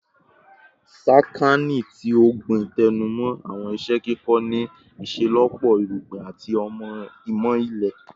Sakaani ti Ogbin tẹnumọ awọn iṣẹ ikẹkọ ni iṣelọpọ Irugbin ati Imọ Ile